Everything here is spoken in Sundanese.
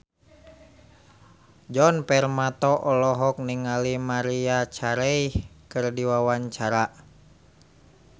Djoni Permato olohok ningali Maria Carey keur diwawancara